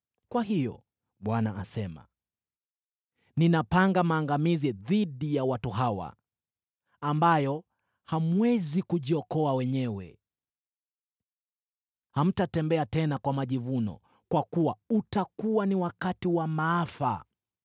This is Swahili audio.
Kwa hiyo, Bwana asema: “Ninapanga maangamizi dhidi ya watu hawa, ambayo hamwezi kujiokoa wenyewe. Hamtatembea tena kwa majivuno, kwa kuwa utakuwa ni wakati wa maafa.